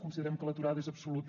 considerem que l’aturada és absoluta